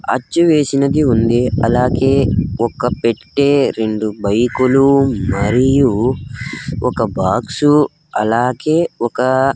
అచ్చు వేసినది ఉంది అలాగే ఒక పెట్టే రెండు బైకు లు మరియు ఒక బాక్సు అలాగే ఒకా --